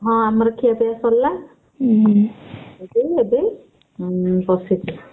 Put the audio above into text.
ହଁ ଆମର ଖିଆପିଆ ସରିଲା ଉଁ ଏବେ ବସିଛି।